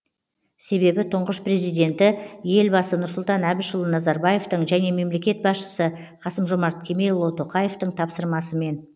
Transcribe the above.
себебі тұңғыш президенті елбасы нұрсұлтан әбішұлы назарбаевтың және мемлекет басшысы қасым жомарт кемелұлы тоқаевтың тапсырмасымен